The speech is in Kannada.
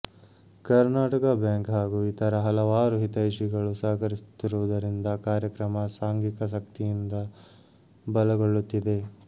ಕರ್ಣಾಟಕ ಬ್ಯಾಂಕ್ ಹಾಗೂ ಇತರ ಹಲವಾರು ಹಿತೈಷಿಗಳು ಸಹಕರಿಸುತ್ತಿರುವುದರಿಂದ ಕಾರ್ಯಕ್ರಮ ಸಾಂಘಿಕ ಶಕ್ತಿಯಿಂದ ಬಲಗೊಳ್ಳುತ್ತಿದೆ